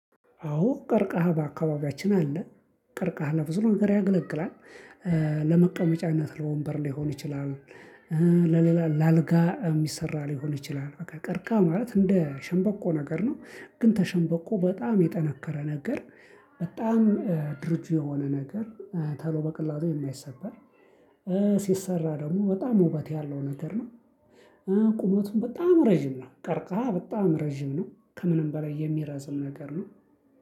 አዎ ቀርካሃ በአካባቢያችን አለ ቀርካሃ ለብዙ ነገር ያገለግላል። ለመቀመጫነት ለወንበር ሊሆን ይችላል። ለሌላ ለአልጋ ሚሰራ ሊሆን ይችላል በቃ ቀርካ ማለት እንደ ሸንበቆ ነገር ነው ግን ከሸንበቆ በጣም የጠነከረ ነገር። በጣም ድርጁ የሆነ ነገር ቶሎ በቀላሉ የማይሰበር። ሲሰራ ደግሞ በጣም ውበት ያለው ነገር ነው። ቁመቱን በጣም ረጅም ነው ቀርካ በጣም ረጅም ነው ከምንም በላይ የሚረዝም ነገር ነው